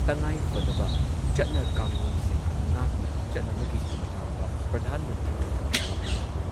ꯆꯠꯅ ꯀꯥꯡꯂꯣꯟꯁꯤꯡ ꯉꯥꯛꯅ ꯆꯠꯅꯕꯒꯤ ꯃꯇꯥꯡꯗ ꯄ꯭ꯔꯙꯥꯟ ꯃꯟꯇ꯭ꯔꯤ ꯅꯔꯦꯟꯗ꯭ꯔ ꯃꯣꯗꯤꯅ ꯍꯧꯗꯣꯛꯈꯤꯕ